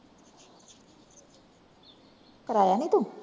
ਕਰਾਯਾ ਨੀ ਤੂੰ?